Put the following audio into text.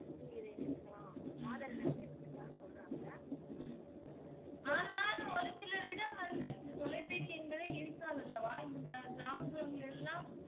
நீங்க இத இணைச்சிக்கலாம் ஆதார் எண்ணை வந்து இணைச்சிக்கலாம்மு சொல்றாங்க